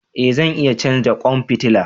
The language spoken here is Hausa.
E zan iya canza kwan fitila.